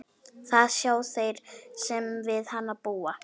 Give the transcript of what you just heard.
Það sjá þeir sem við hana búa.